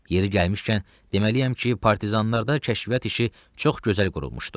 Yeri gəlmişkən, deməliyəm ki, partizanlarda kəşfiyyat işi çox gözəl qurulmuşdu.